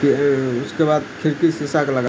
उसके बाद खिड़की शीशा का लगा --